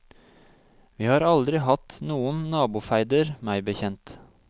Vi har aldri hatt noen nabofeider meg bekjent.